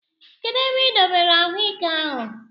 Kedụ ebe I dobere anyụike ahụ?